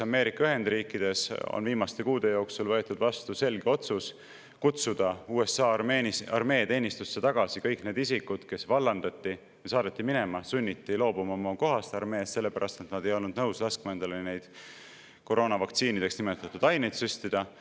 Ameerika Ühendriikides on viimaste kuude jooksul võetud vastu selge otsus kutsuda USA armee teenistusse tagasi kõik need isikud, kes vallandati, saadeti minema, sunniti loobuma oma kohast armees selle pärast, et nad ei olnud nõus laskma endale neid koroonavaktsiinideks nimetatud aineid süstida.